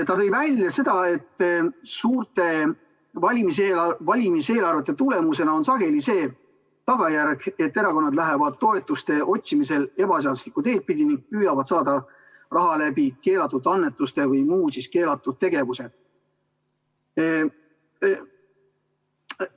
Ta tõi välja, et suurte valimiseelarvete tagajärjeks on sageli see, et erakonnad lähevad toetuse otsimisel ebaseaduslikku teed pidi ning püüavad saada raha keelatud annetuste või muu keelatud tegevuse kaudu.